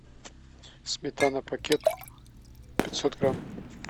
сметана пакет пятьсот грамм